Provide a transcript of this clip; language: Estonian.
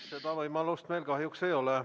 Seda võimalust meil kahjuks ei ole.